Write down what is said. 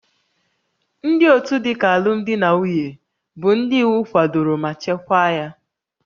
Ndị otu dịka alụmdi na nwunye bụ ndị iwu kwadoro ma chekwaa ya